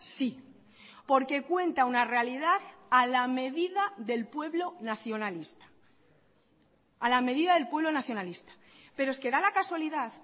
sí porque cuenta una realidad a la medida del pueblo nacionalista a la medida del pueblo nacionalista pero es que da la casualidad